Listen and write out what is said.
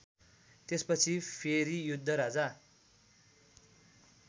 त्यसपछि फेरि योद्धराजा